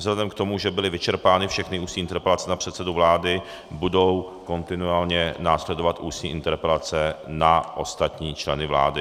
Vzhledem k tomu, že byly vyčerpány všechny ústní interpelace na předsedu vlády, budou kontinuálně následovat ústní interpelace na ostatní členy vlády.